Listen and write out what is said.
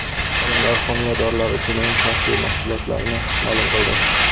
Olimlar homiladorlar uchun eng xavfli mahsulotlarni ma’lum qildi.